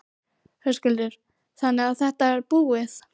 Höskuldur: Þannig að þetta er búið?